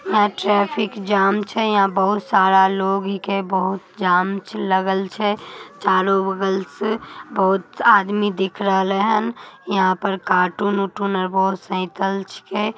यहाँ traffic jam छे यहाँ बहुत सारा लोग के बहुत जाम लगल छे। चारो बगल से बहुत आदमी दिख रहले हन। यहाँ पे कार्टून ऑर्टन है बहुत साईकिल छिकै।